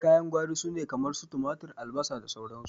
Kayan gwari sune kamar su tumatur, albasa, sauran su.